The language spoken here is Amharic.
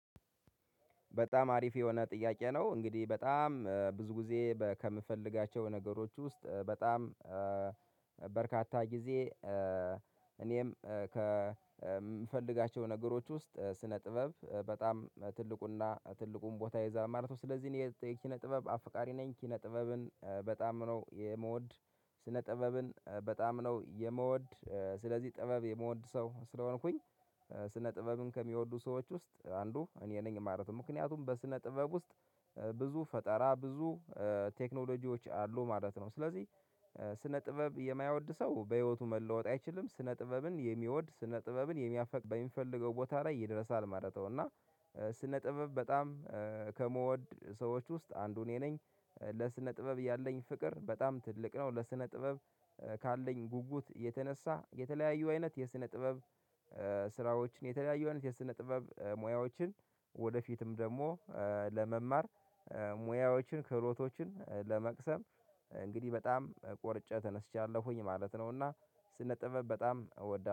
በጣም አሪፍ የሆነ ጥያቄ ነው እንግዲህ በጣም ብዙ ጊዜ ከምፈልጋቸው ነገሮች ውስጥ በጣም በርካታ ጊዜ እኔም ከምፈልጋቸው ነገሮች ውስጥ ስነ ጥበብ በጣም ትልቁና ትልቁን ቦታ ይዛ ማለት ነው ስለዚህ የኪነ ጥበብ አፈቃሪ ነኝ ኪነ ጥበብን በጣም ነው የምወድ። ስነ ጥበብን በጣም ነው የምወድ ስለዚህ ጥበብ የምወድ ሰው ስለሆንኩኝ። ስነ ጥበብን ከሚወዱ ሰዎች ውስጥ አንዱ እኔ ነኝ ማለት ነው። ምክንያቱም በስነ ጥበብ ውስጥ ብዙ ፈጠራ ብዙ ቴክኖሎጂዎች አሉ ማለት ነው። ስለዚህ ስነ ጥበብ የማይወድ ሰው በህይወቱ መለወጥ አይችልም ስነ ጥበብን የሚወድ ስነ ጥበብን የሚያፈቅር በሚፈልገው ቦታ ላይ ይደርሳል ማለት ነው። እና ስነ ጥበብ በጣም ከምወድ ሰዎች ውስጥ አንዱ እኔ ነኝ ለስነ ጥበብ ያለኝ ፍቅር በጣም ትልቅ ነው። ለስነ ጥበብ ካለኝ ጉጉት የተነሳ የተለያዩ አይነት የስነ ጥበብ ስራዎችን የተለያዩ አይነት የስነ ጥበብ ሙያዎችን ወደፊትም ደግሞ ለመማር ሙያዎችን ክህሎቶችን ለመቅሰም እንግዲህ በጣም ቆርጨ ተነሥቻለሁኝ ማለት ነው። እና ስነ ጥበብ በጣም እወዳለሁ